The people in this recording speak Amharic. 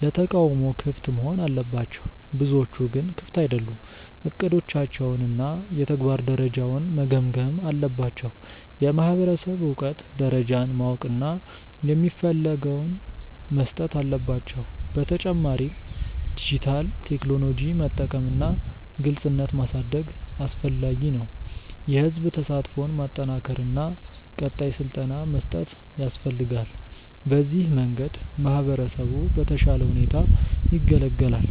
ለተቃውሞ ክፍት መሆን አለባቸው፤ ብዙዎቹ ግን ክፍት አይደሉም። እቅዶቻቸውን እና የተግባር ደረጃውን መገምገም አለባቸው። የማህበረሰብ እውቀት ደረጃን ማወቅ እና የሚፈልገውን መስጠት አለባቸው። በተጨማሪም ዲጂታል ቴክኖሎጂ መጠቀም እና ግልጽነት ማሳደግ አስፈላጊ ነው። የህዝብ ተሳትፎን ማጠናከር እና ቀጣይ ስልጠና መስጠት ያስፈልጋል። በዚህ መንገድ ማህበረሰቡ በተሻለ ሁኔታ ይገለገላል።